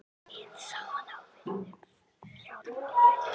Hið sama á við um fjármálin.